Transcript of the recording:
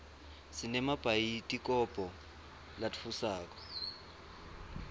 sinemabhayidikobho latfusako